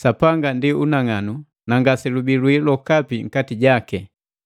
Sapanga ndi unang'anu na ngaselubii lwii lwokapi nkati jaki.